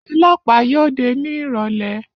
Ọlọ́pàá yóò dé ní ìrọ̀lẹ́